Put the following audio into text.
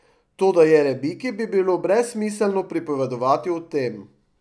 Toda Jerebiki bi bilo brezsmiselno pripovedovati o tem.